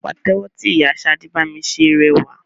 Pàtẹ́wọ́ tí ìyá Ṣadé bami ṣe rẹwà.